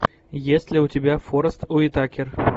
есть ли у тебя форест уитакер